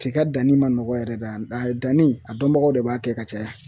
Tiga danni ma nɔgɔn yɛrɛ dɛ, a danni a dɔnbagaw de b'a kɛ ka caya;